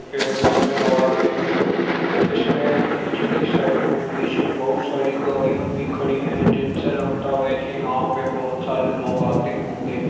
पेड़ नजर आ रहे है। इसमें नीचे की साइड में पीछे बहुत सारी गाड़िया भी खड़ी है। जिनसे लगता है कि यहाँ पे बहुत सारे लोग आते होंगे।